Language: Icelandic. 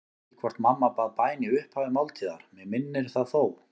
Ég man ekki hvort mamma bað bæn í upphafi máltíðar, mig minnir það þó.